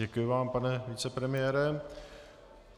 Děkuji vám, pane vicepremiére.